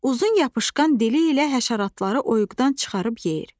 Uzun yapışqan dili ilə həşəratları oyuqdan çıxarıb yeyir.